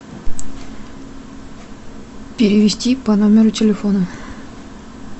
перевести по номеру телефона